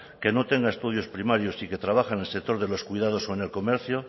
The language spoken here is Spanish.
que no tenga estudios primarios y que trabaje en el sector de los cuidados o en el comercio